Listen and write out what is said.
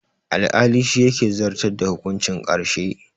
Alƙali shi ke zartar da hukuncin ƙarshe